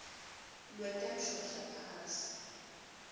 lwetemshoshaphasi